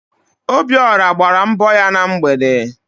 Obiọra gbara mbọ ya na mgbede